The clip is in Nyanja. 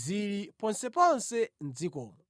zili ponseponse mʼdzikomo.